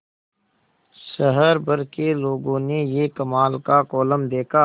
शहर भर के लोगों ने यह कमाल का कोलम देखा